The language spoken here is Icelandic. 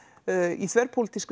í